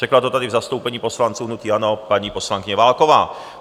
Řekla to tady v zastoupení poslanců hnutí ANO paní poslankyně Válková.